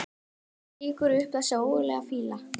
Og það rýkur upp þessi ógurlega fýla.